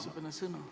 Sõnasoov.